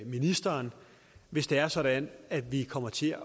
ministeren hvis det er sådan at vi kommer til